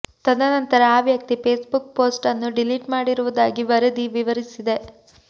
ತದನಂತರ ಆ ವ್ಯಕ್ತಿ ಫೇಸ್ ಬುಕ್ ಪೋಸ್ಟ್ ಅನ್ನು ಡಿಲೀಟ್ ಮಾಡಿರುವುದಾಗಿ ವರದಿ ವಿವರಿಸಿದೆ